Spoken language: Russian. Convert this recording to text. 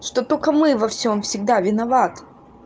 что только мы во всём всегда виноват